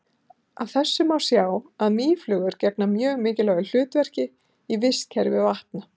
Af þessu má sjá að mýflugur gegna mjög mikilvægu hlutverki í vistkerfi vatna.